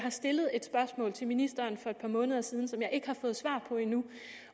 stillet et spørgsmål til ministeren for et par måneder siden som jeg endnu ikke har fået svar på